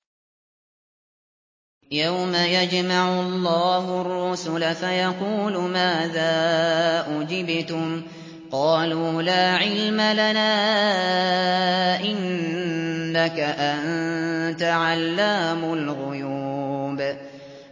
۞ يَوْمَ يَجْمَعُ اللَّهُ الرُّسُلَ فَيَقُولُ مَاذَا أُجِبْتُمْ ۖ قَالُوا لَا عِلْمَ لَنَا ۖ إِنَّكَ أَنتَ عَلَّامُ الْغُيُوبِ